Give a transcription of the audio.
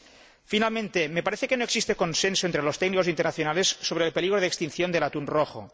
Por último, me parece que no existe consenso entre los técnicos internacionales sobre el peligro de extinción del atún rojo.